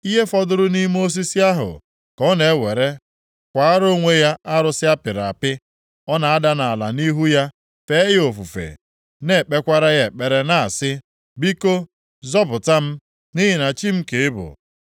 Ihe fọdụrụ nʼime osisi ahụ ka ọ na-ewere kwaara onwe ya arụsị a pịrị apị; Ọ na-ada nʼala nʼihu ya, fee ya ofufe. Ọ na-ekpekwara ya ekpere na-asị, “Biko, Zọpụta m, nʼihi na chi m ka ị bụ!”